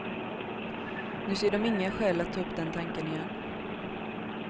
Nu ser de inga skäl att ta upp den tanken igen.